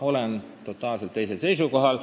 Olen totaalselt teisel seisukohal.